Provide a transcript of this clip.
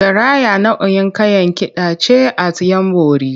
Garaya nau’in Kayan Kida ce at ‘Yanbori.